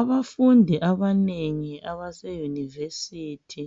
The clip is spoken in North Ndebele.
Abafundi abanengi abaseyunivesithi